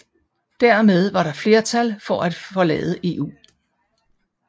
Dermed var der flertal for at forlade EU